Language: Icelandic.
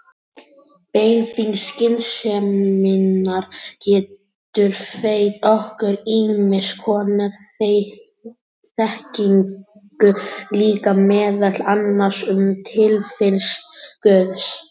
Beiting skynseminnar getur veitt okkur ýmiss konar þekkingu líka, meðal annars um tilvist guðs.